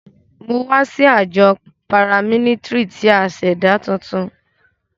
Mo wa si ajọ paramilitary ti a ṣẹda tuntun.